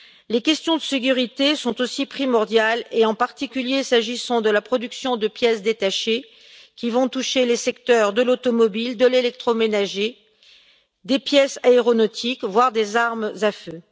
Les questions de sécurité sont aussi primordiales, et en particulier s'agissant de la production de pièces détachées qui vont toucher les secteurs de l'automobile, de l'électroménager, des pièces aéronautiques, voire des armes à feu.